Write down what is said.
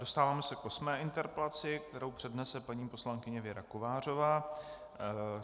Dostáváme se k osmé interpelaci, kterou přednese paní poslankyně Věra Kovářová.